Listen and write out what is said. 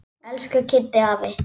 Elsku Kiddi afi.